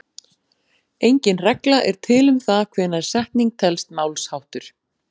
Engin regla er til um það hvenær setning telst málsháttur.